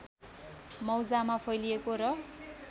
मौजामा फैलिएको र